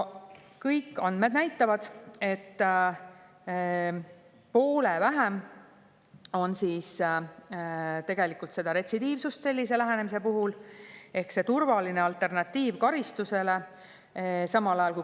Kõik andmed näitavad, et poole vähem on tegelikult retsidiivsust sellise lähenemise puhul ehk see on turvaline alternatiiv karistusele.